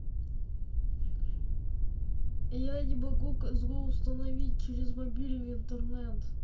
я не могу козу установить через мобильный интернет